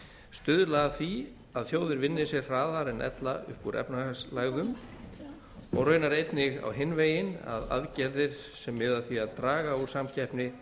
stuðla að því að þjóðir vinni sig hraðar en ella upp úr efnahagslægðum og raunar einnig á hinn veginn að aðgerðir sem miði að því að draga úr samkeppni